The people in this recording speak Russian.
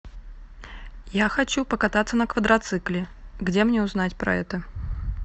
я хочу покататься на квадроцикле где мне узнать про это